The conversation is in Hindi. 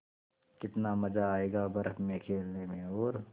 कितना मज़ा आयेगा बर्फ़ में खेलने में और